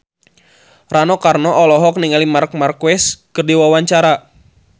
Rano Karno olohok ningali Marc Marquez keur diwawancara